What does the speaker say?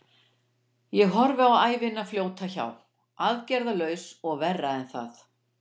Ég horfði á ævina fljóta hjá, aðgerðarlaus og verra en það.